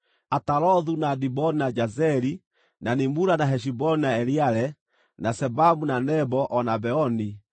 “Atarothu, na Diboni, na Jazeri, na Nimura, na Heshiboni, na Eleale, na Sebamu, na Nebo, o na Beoni,